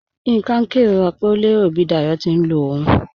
Yinka n kẹrora pe o lẹro bi Dáyọ̀ ti n lọ ọ̀un.